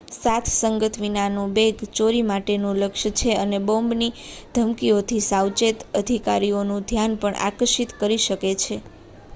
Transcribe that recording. સાથસંગાત વિનાનું બેગ ચોરી માટેનું લક્ષ્ય છે અને બોમ્બની ધમકીઓથી સાવચેત અધિકારીઓનું ધ્યાન પણ આકર્ષિત કરી શકે છે